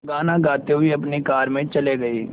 गाना गाते हुए अपनी कार में चले गए